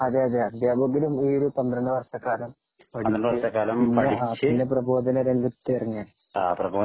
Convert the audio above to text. അതെയതെ അധ്യാപകരും ഈയൊരു പന്ത്രണ്ടു വർഷക്കാലം പഠിച്ചു പിന്നെ പ്രബോധന രംഗത്ത് ഇറങ്ങിയതാണ്